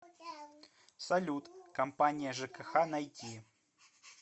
салют компания жкх найти